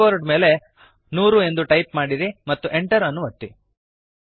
ಈಗ ಕೀಬೋರ್ಡ್ ಮೇಲೆ 100 ಅನ್ನು ಟೈಪ್ ಮಾಡಿರಿ ಮತ್ತು Enter ಅನ್ನು ಒತ್ತಿರಿ